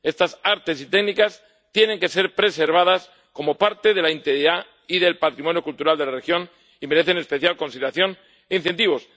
Estas artes y técnicas tienen que ser preservadas como parte de la integridad y del patrimonio cultural de la región y merecen especial consideración e incentivos.